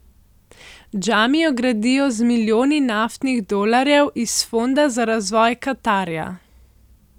Džamijo gradijo z milijoni naftnih dolarjev iz fonda za razvoj Katarja.